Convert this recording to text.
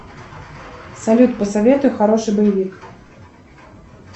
салют посоветуй хороший боевик